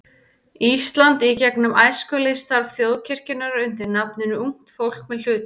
Íslands í gegnum æskulýðsstarf þjóðkirkjunnar undir nafninu Ungt fólk með hlutverk.